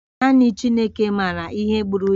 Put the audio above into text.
Naanị Chineke maara ihe gburu ya